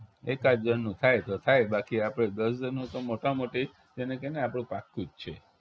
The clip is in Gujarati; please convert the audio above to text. એકાદ જણનું થાય તો થાય બાકી આપણે દસ જણનું તો મોટામાં મોટી જે ને કે ને કે આપણું પાક્કું જ છે